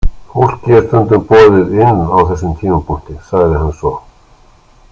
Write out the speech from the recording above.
Fólki er stundum boðið inn á þessum tímapunkti, sagði hann svo.